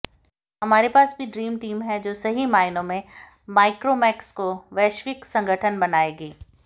हमारे पास भी ड्रीम टीम है जो सही मायनों में माइक्रोमैक्स को वैश्विक संगठन बनाएगी